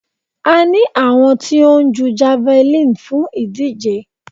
A ní àwọn tí ó ń jú javeline fún ìdíje.